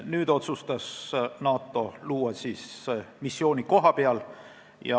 Nüüd otsustas NATO kohapeal missiooni luua.